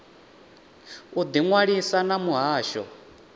u ḓi ṅwalisa na muhasho